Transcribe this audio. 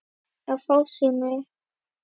Í fásinni